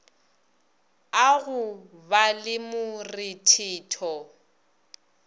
a go ba le morethetho